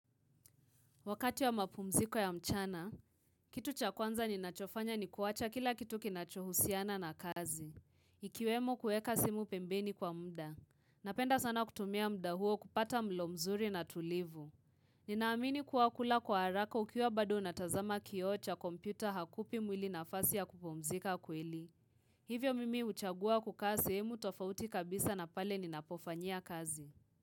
Wakati wa mapumziko ya mchana, kitu cha kwanza ninachofanya ni kuwacha kila kitu kinachohusiana na kazi. Ikiwemo kueka simu pembeni kwa mda. Napenda sana kutumia muda huo kupata mlo mzuri na tulivu. Ninaamini kuwa kula kwa haraka ukiwa bado unatazama kioo cha kompyuta hakupi mwili nafasi ya kupumzika kweli. Hivyo mimi huchagua kukaa sehemu tofauti kabisa na pale ninapofanyia kazi.